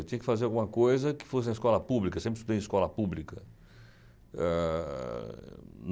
Eu tinha que fazer alguma coisa que fosse na escola pública, sempre estudei em escola pública. Ah...